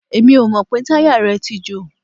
Èmi ò mọ̀ pé táyà rẹ̀ tí jò.